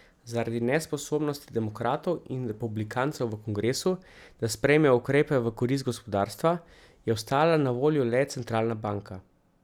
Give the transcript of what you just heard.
Zaradi nesposobnosti demokratov in republikancev v kongresu, da sprejmejo ukrepe v korist gospodarstva, je ostala na voljo le centralna banka.